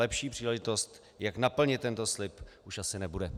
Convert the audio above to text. Lepší příležitost, jak naplnit tento slib, už asi nebude.